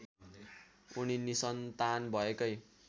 उनी निसन्तान भएकै